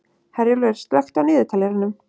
Herjólfur, slökktu á niðurteljaranum.